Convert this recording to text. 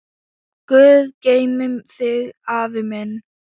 Guð geymi þig, afi minn.